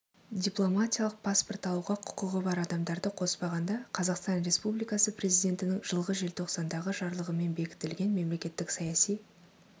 дипломатиялық паспорт алуға құқығы бар адамдарды қоспағанда қазақстан республикасы президентінің жылғы желтоқсандағы жарлығымен бекітілген мемлекеттік саяси